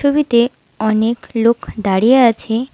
ছবিতে অনেক লোক দাঁড়িয়ে আছে।